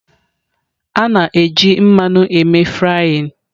A na-eji mmanụ eme frying.